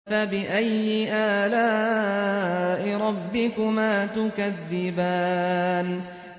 فَبِأَيِّ آلَاءِ رَبِّكُمَا تُكَذِّبَانِ